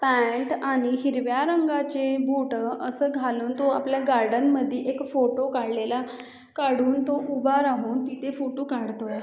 Pant आणि हिरव्या रंगाचे बूटं असं घालून तो आपल्या गार्डन मधी एक फोटो काढलेले काढून तो उभा राहून तिथे फोटो काढतोय.